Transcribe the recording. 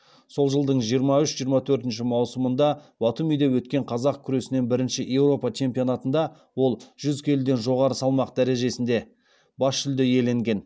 сол жылдың жиырма үш жиырма төртінші маусымында батумиде өткен қазақ күресінен бірінші еуропа чемпионатында ол жүз келіден жоғары салмақ дәрежесінде бас жүлде иеленген